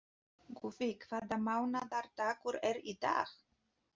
Guffi, hvaða mánaðardagur er í dag?